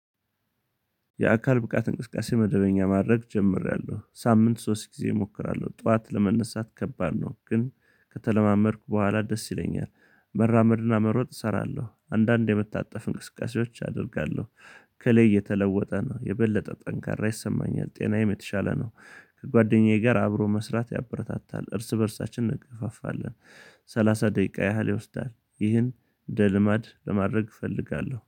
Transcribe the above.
የአካል ብቃት እንቅስቃሴ መደበኛ ማድረግ ጀምሬያለሁ ሳምንት ሶስት ጊዜ እሞክራለሁ ጠዋት ለመነሳት ከባድ ነው ግን ከተለማመድኩ በኋላ ደስ ይለኛል መራመድና መሮጥ እሰራለሁ አንዳንዴ የምታጠፍ እንቅስቃሴዎች አደርጋለሁ ከላይ እተለወጠ ነው የበለጠ ጠንካራ ይሰማኛል ጤናዬም የተሻለ ነው። ከጓደኛዬ ጋር አብሮ መስራት ያበረታታል እርስ በእርሳችን እንገፋፋለን። ሰላሳ ደቂቃ ያህል ይወስዳል ይህን እንደ ልማድ ለማድረግ እፈልጋለሁ